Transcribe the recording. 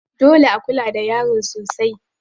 Dole a kula da yaro sosai.